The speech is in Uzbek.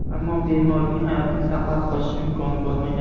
Ammo bemorning hayotini saqlab qolish imkoni bo‘lmagan.